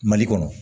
Mali kɔnɔ